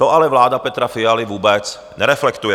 To ale vláda Petra Fialy vůbec nereflektuje.